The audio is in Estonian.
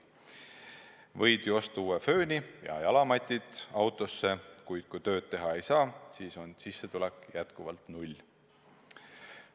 Võid ju osta uue fööni ja autosse jalamatid, aga kui tööd teha ei saa, siis on sissetulek jätkuvalt null.